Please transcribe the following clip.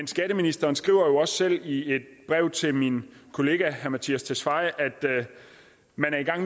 skatteministeren skriver jo også selv i et brev til min kollega herre mattias tesfaye